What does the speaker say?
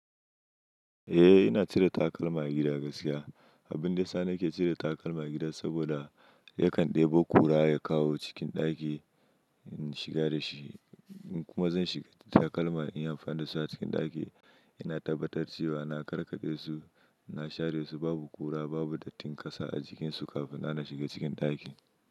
Eh, ina cire takalma a gida gaskiya. Abun da yasani ke cire takalma a gida saboda yakan ɗebo kura ya kawo cikin ɗaki in shiga da shi, kuma zan shiga takalma in yi amfani da su a cikin ɗaki. Ina tabbatar cewa na karkade su, na share su, babu kura, babu dattin ƙasa a jikin su kafin na shiga cikin ɗaki.